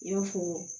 I y'a fɔ